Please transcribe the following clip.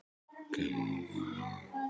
Gumma